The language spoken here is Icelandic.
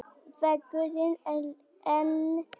Vegurinn enn lokaður